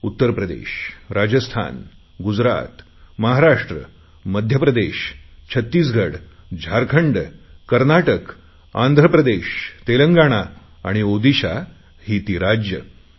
उत्तरप्रदेश राजस्थान गुजरात महाराष्ट्र मध्यप्रदेश छत्तीसगड झारखंड कर्नाटक आंध्रप्रदेश तेलंगणा आणि ओडिशा ही ती राज्ये